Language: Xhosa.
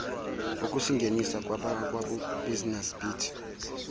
ukusingenisa kwabakwabusiness beat